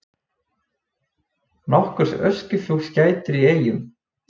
Nokkurs öskufjúks gætir í Eyjum